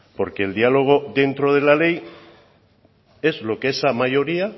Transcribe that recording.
porque el diálogo dentro de la ley es lo que esa mayoría